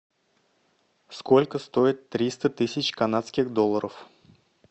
сколько стоит триста тысяч канадских долларов